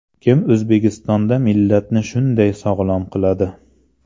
Kim O‘zbekistonda millatni shunday sog‘lom qiladi?